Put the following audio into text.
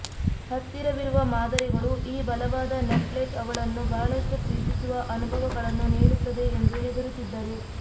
ಹತ್ತಿರವಿರುವ ಮಾದರಿಗಳು ಈ ಬಲವಾದ ನಟ್ಲೆಟ್ ಅವಳನ್ನು ಬಹಳಷ್ಟು ಪ್ರೀತಿಸುವ ಅನುಭವಗಳನ್ನು ನೀಡುತ್ತದೆ ಎಂದು ಹೆದರುತ್ತಿದ್ದರು